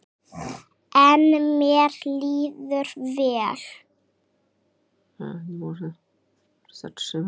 En mér líður vel.